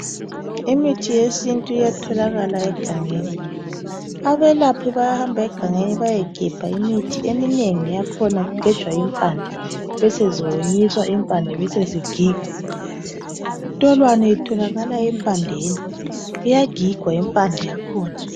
Imithi yesintu iyatholakala egangeni .Abelaphi bayahamba egangeni bayegebha imithi eminengi yakhona kugejwa impande beseziwonyiswa impande zakhona besezigigwa .Intolwane itholakala empandeni .Iyagigwa impande yakhona .